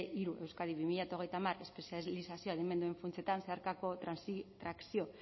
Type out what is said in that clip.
hiru euskadi bi mila hogeita hamar espezializazio adimenduen funtsetan zeharkako trakzio